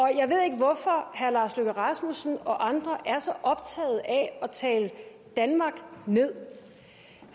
jeg ved ikke hvorfor herre lars løkke rasmussen og andre er så optaget af at tale danmark ned